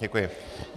Děkuji.